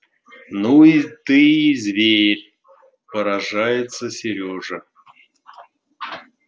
ну ты и зверь поражается серёжа